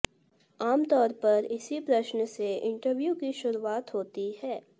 आमतौर पर इसी प्रश्न से इंटरव्यू की शुरुआत होती है